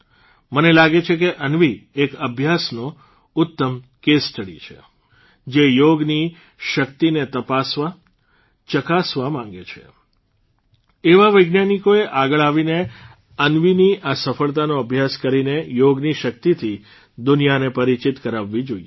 મને લાગે છે કે અન્વી એક અભ્યાસનો ઉત્તમ એક કેસ સ્ટડી છે જે યોગની શક્તિને તપાસવા ચકાસવા માંગે છે એવા વૈજ્ઞાનિકોએ આગળ આવીને અન્વીની આ સફળતાનો અભ્યાસ કરીને યોગની શક્તિથી દુનિયાને પરિચિત કરાવવી જોઇએ